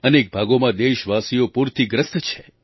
અનેક ભાગોમાં દેશવાસીઓ પૂરથી ગ્રસ્ત છે